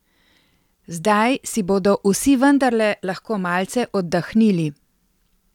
Zdaj si bodo vsi vendarle lahko malce oddahnili.